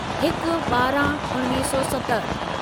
हिक ॿारहं उणिवीह सौ सतहठि